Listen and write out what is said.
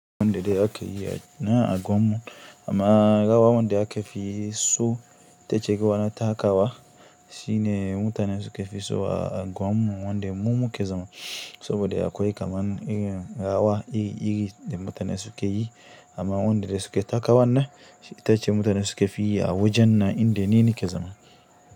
Wanda dai aka yi na agwamun amma gawa wanda aka fi so ta cike wata takawa shine mutanen suka fi so a agwamun wanda mumu ke zama saboda akwai kaman irin rawa iri iri da mutane suke yi amma wanda dai suke takawan ne ita ce mutane suka fi yi a wajen na inda nini ke zama.